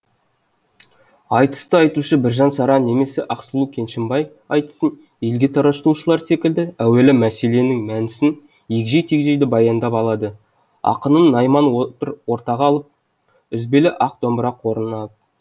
айтысты айтушы біржан сара немесе ақсұлу кеншімбай айтысын елге таратушылар секілді әуелі мәселенің мәнісін егжей тегжейлі баяндап алады ақынын найман отыр ортаға алып үзбелі ақ домбыра қолына алып